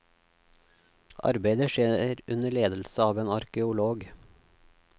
Arbeidet skjer under ledelse av en arkeolog.